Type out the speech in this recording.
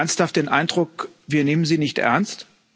Haben Sie ernsthaft den Eindruck, wir nehmen Sie nicht ernst?